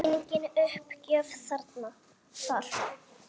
Engin uppgjöf þar.